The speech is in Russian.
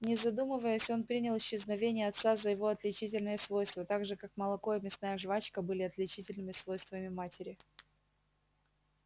не задумываясь он принял исчезновение отца за его отличительное свойство так же как молоко и мясная жвачка были отличительными свойствами матери